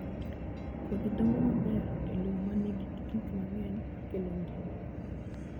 Kodhi dongo maber e lowo ma nigi gik mang'eny makelo ngima.